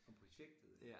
Om projektet eller